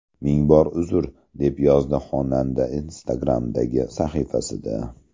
Ming bor uzr”, deb yozdi xonanda Instagram’dagi sahifasida.